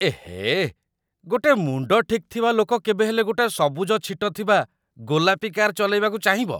ଏହେ, ଗୋଟେ ମୁଣ୍ଡ ଠିକ୍ ଥିବା ଲୋକ କେବେ ହେଲେ ଗୋଟେ ସବୁଜ ଛିଟ ଥିବା ଗୋଲାପି କାର୍ ଚଲେଇବାକୁ ଚାହିଁବ!